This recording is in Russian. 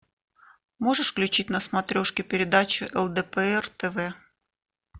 можешь включить на смотрешке передачу лдпр тв